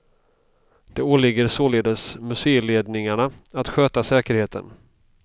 Det åligger således museiledningarna att sköta säkerheten.